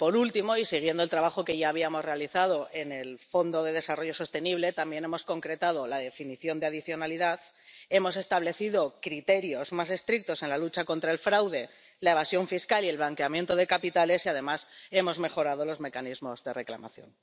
Y por último, y siguiendo el trabajo que ya habíamos realizado en el Fondo de Desarrollo Sostenible, también hemos concretado la definición de adicionalidad, hemos establecido criterios más estrictos en la lucha contra el fraude, la evasión fiscal y el blanqueo de capitales y, además, hemos mejorado los mecanismos de reclamación.